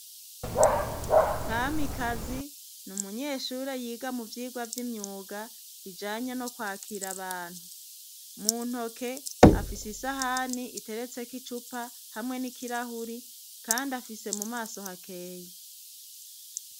Kamikazi ni umunyeshure yiga mu vyigwa vy'imyuga bijanye no kwakira abantu, mu ntoke afise isahani iteretseko icupa hamwe n'ikirahuri kandi afise mu maso hakeye.